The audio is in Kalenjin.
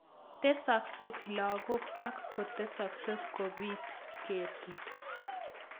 Tesakse logoek ak kotestai kopit ketit